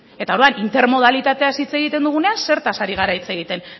eta orduan intermodalitateaz hitz egiten dugunean zertaz ari gara hitz egiten